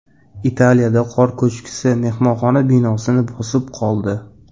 Italiyada qor ko‘chkisi mehmonxona binosini bosib qoldi.